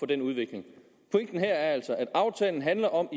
denne udvikling … pointen her er altså at aftalen handler om